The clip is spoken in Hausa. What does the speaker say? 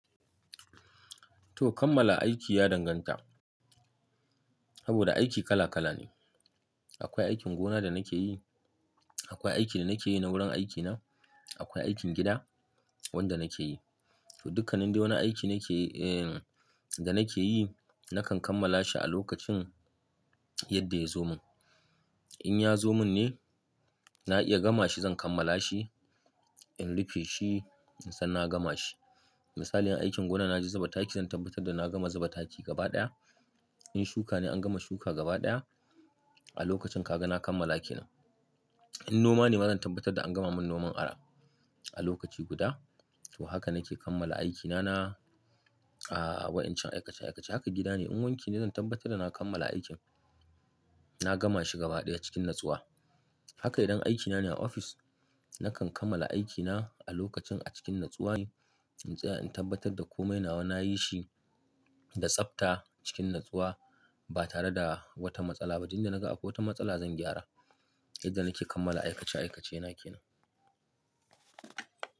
To kammala aiki ya danganta, saboda aiki kala kala ne. Akwai aikin gona da nake yi, akwai aikin da nake yi na wurin aikina, akwai aikin gida wanda nake yi. To dukkanin dai wani aiki nake, eh da nake yi, nakan kammala shi a lokacin yadda ya zo mun. In ya zo mun ne, na iya gama shi zan kammala shi, in rufe shi, in san na gama shi. Misali aikin gona na je zuba taki zan tabbatar da na gama zuba taki gaba ɗaya. In shuka ne an gama shuka gaba ɗaya a lokacin ka ga na kammala aikina. In noma ne ma zan tabbatar da an gama min noman ara a lokaci guda. To haka nake kammala aikina na, a wa'incan aikace aikace. Haka gida ne in wanke ne zan tabbatar da na kammala aikin, na gama shi gaba ɗaya cikin natsuwa. Haka idan aikina ne a ofis, nakan kammala aikina a lokacin a cikin natsuwa ne. In tsaya in tabbatar da komai nawa nayi shi da tsafta cikin natsuwa ba tare da wata matsala ba. Inda na ga akwai wata matsala zan gyara yadda nake kammala aikace aikace na yake nan.